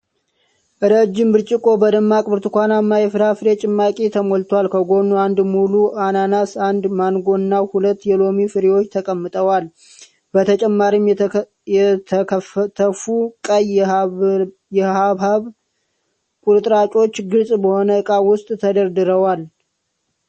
ረጅም ብርጭቆ በደማቅ ብርቱካንማ የፍራፍሬ ጭማቂ ተሞልቷል። ከጎኑ አንድ ሙሉ አናናስ፣ አንድ ማንጎ እና ሁለት የሎሚ ፍሬዎች ተቀምጠዋል። በተጨማሪም የተከተፉ ቀይ የሐብሐብ ቁርጥራጮች ግልጽ በሆነ ዕቃ ውስጥ ተደርድረዋል።